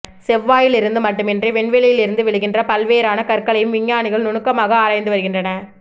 செவ்வாயிலிருந்து மட்டுமன்றி விண்வெளியிலிருந்து விழுகின்ற ப்ல்வேறான கற்களையும் விஞ்ஞானிகள் நுணுக்கமாக ஆராய்ந்து வருகின்றனர்